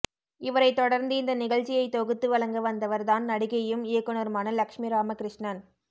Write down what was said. இவரை தொடர்ந்து இந்த நிகழ்ச்சியை தொகுத்து வழங்க வந்தவர் தான் நடிகையும் இயக்குனருமான லட்சுமி ராமகிருஷ்ணன்